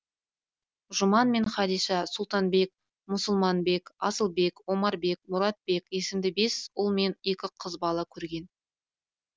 жұман мен хадиша сұлтанбек мұсылманбек асылбек омарбек мұратбек есімді бес ұл мен екі қыз бала көрген